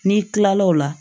N'i kilal'o la